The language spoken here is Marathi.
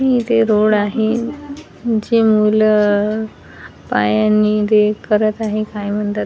तेथे रोड आहे जे मूल पायानी ते करत आहे काय म्हणतात --